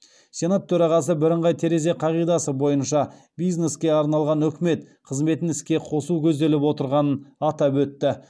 сенат төрағасы бірыңғай терезе қағидасы бойынша бизнеске арналған үкімет қызметін іске қосу көзделіп отырғанын атап өтті